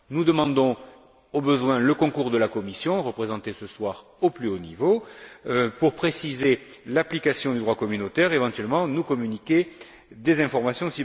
Nous demandons, au besoin, le concours de la Commission, représentée ce soir au plus haut niveau, pour préciser l'application du droit communautaire et, éventuellement, nous communiquer des informations.